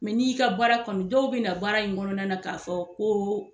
ni y'i ka baara kanu , dɔw be na baara in kɔnɔna na ka fɔ ko